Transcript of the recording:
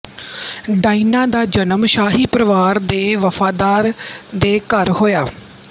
Diana ਦਾ ਜਨਮ ਸ਼ਾਹੀ ਪਰਿਵਾਰ ਦੇ ਵਫ਼ਾਦਾਰ ਦੇ ਘਰ ਹੋਇਆ